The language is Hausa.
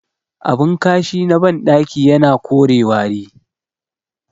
Abin kashi na bandaki yana kore wari